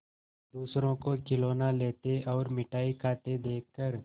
दूसरों को खिलौना लेते और मिठाई खाते देखकर